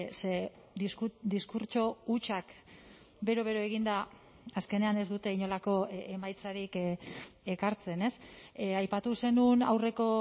ze diskurtso hutsak bero bero eginda azkenean ez dute inolako emaitzarik ekartzen aipatu zenuen aurreko